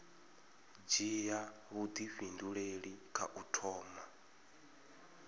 dzhia vhuifhinduleli kha u thoma